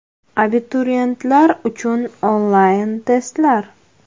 Abituriyentlar uchun onlayn testlar!.